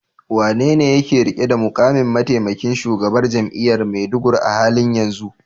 Wanene yake rike da mukamin mataimakin shugaban jami'ar Maiduguri a halin yanzu?